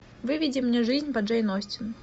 выведи мне жизнь по джейн остин